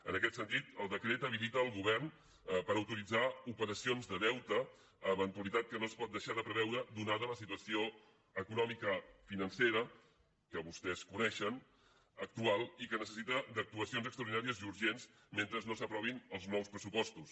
en aquest sentit el decret habilita el govern per autoritzar operacions de deute eventualitat que no es pot deixar de preveure donada la situació econòmica i financera que vostès coneixen actual i que necessita d’actuacions extraordinàries i urgents mentre no s’aprovin els nous pressupostos